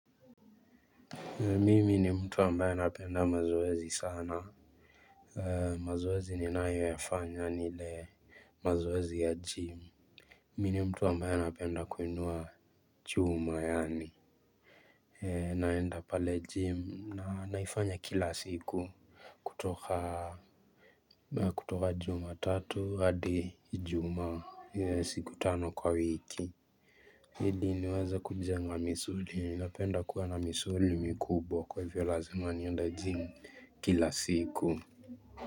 Mimi ni mtu ambaye napenda mazoezi sana. Mazwezi ninayoyafanya ni ile mazoezi ya jimu. Mimi mtu ambaye napenda kuinua chuma yani naenda pale jimu na naifanya kila siku kutoka kutoka juma tatu hadi ijumaa siku tano kwa wiki. Hili ni waze kuja nga misuri, minapenda kuwa na misuri mikubo kwa hivyo lazima niende jimu kila siku.